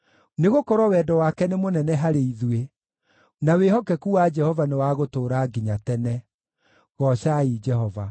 Nĩgũkorwo wendo wake nĩ mũnene harĩ ithuĩ, na wĩhokeku wa Jehova nĩ wa gũtũũra nginya tene. Goocai Jehova.